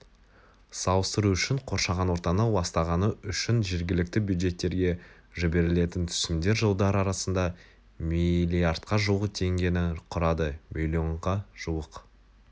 салыстыру үшін қоршаған ортаны ластағаны үшін жергілікті бюджеттерге жіберілетін түсімдер жылдар арасында миллардқа жуық теңгені құрады миллионға жуық